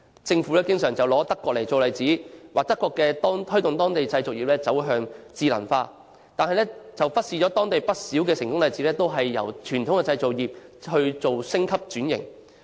政府經常用德國做例子，指出德國推動當地製造業走向智能化，但卻忽視當地不少成功例子都是由傳統製造業升級轉型。